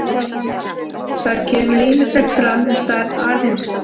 Þar kemur ýmislegt fram um stærð alheimsins.